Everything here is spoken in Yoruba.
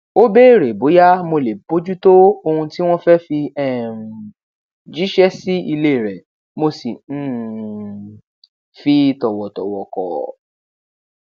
ó béèrè bóyá mo lè bójútó ohun tí wọn fẹ fi um jíṣẹ sí ilé rẹ mo sì um fi tòwòtòwò kò